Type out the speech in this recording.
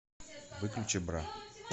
выключи бра